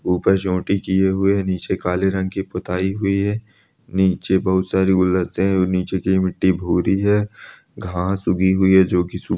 ऊपर चोटी किये हुए है नीचे काले रंग की पुताई हुई है नीचे बहोत सारे गुलदस्ते है नीचे की मिट्टी भूरी है घास उगी हुई है जो की सु--